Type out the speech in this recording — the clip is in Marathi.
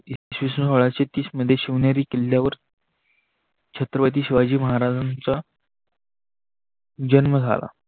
शनिवारवाडा छतीशमध्ये शिवनेरी किल्याव छत्रपति शिवाजी महाराजानच जन्म झाला.